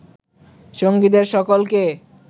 সঙ্গীদের সকলকে